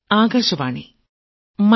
പ്രധാനമന്ത്രി ശ്രീ